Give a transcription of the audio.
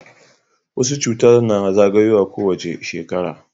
wasu cuta na zagayowa ko wace shekara